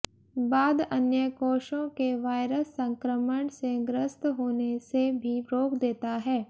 बाद अन्य कोषों के वायरस संक्रमण से ग्रस्त होने से भी रोक देता है